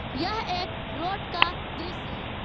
यह एक रोड का दृश्य है।